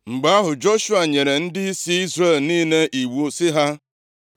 Mgbe ahụ, Joshua nyere ndịisi Izrel niile iwu sị ha,